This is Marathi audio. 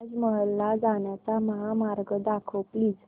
ताज महल ला जाण्याचा महामार्ग दाखव प्लीज